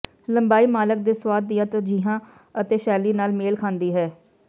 ਲੰਬਾਈ ਮਾਲਕ ਦੇ ਸੁਆਦ ਦੀਆਂ ਤਰਜੀਹਾਂ ਅਤੇ ਸ਼ੈਲੀ ਨਾਲ ਮੇਲ ਖਾਂਦੀ ਹੈ